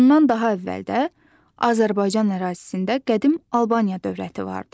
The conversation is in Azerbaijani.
Bundan daha əvvəl də Azərbaycan ərazisində qədim Albaniya dövləti vardı.